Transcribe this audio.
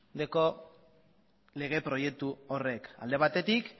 dauka lege proiektu horrek alde batetik